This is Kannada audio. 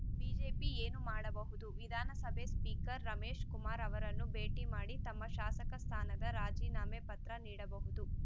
ಬಿಜೆಪಿ ಏನು ಮಾಡಬಹುದು ವಿಧಾನಸಭೆಯ ಸ್ಪೀಕರ್‌ ರಮೇಶ್‌ಕುಮಾರ್‌ ಅವರನ್ನು ಭೇಟಿ ಮಾಡಿ ತಮ್ಮ ಶಾಸಕ ಸ್ಥಾನದ ರಾಜೀನಾಮೆ ಪತ್ರ ನೀಡಬಹುದು